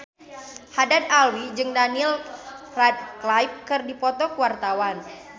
Haddad Alwi jeung Daniel Radcliffe keur dipoto ku wartawan